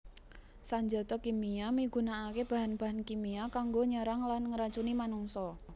Sanjata kimia migunakaké bahan bahan kimia kanggo nyerang lan ngracuni manungsa